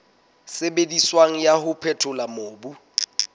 sebediswang wa ho phethola mobu